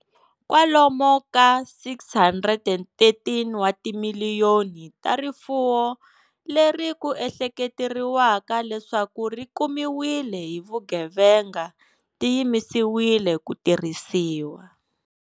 Kwalomu ka R613 wa timiliyoni ta rifuwo leri ku ehleketeriwaka leswaku ri kumiwile hi vugevenga ti yimisiwile ku tirhisiwa.